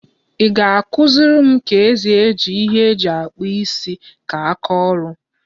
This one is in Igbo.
I ga-akụziri m ka ezi eji ihe eji akpu isi ka aka oru?